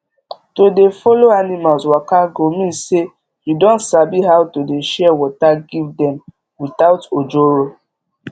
to dey follow animals waka go mean say you don sabi how to dey share water give dem without ojoro